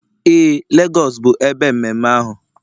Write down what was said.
Ee, Lagos bụ ebe mmemme ahụ